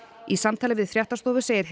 í samtali við fréttastofu segir